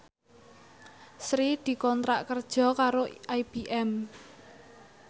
Sri dikontrak kerja karo IBM